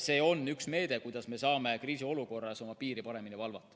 See on üks meede, kuidas me saame kriisiolukorras oma piiri paremini valvata.